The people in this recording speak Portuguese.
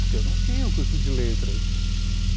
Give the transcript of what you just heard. Porque eu não tinha o curso de letras.